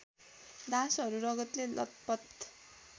दासहरू रगतले लतपत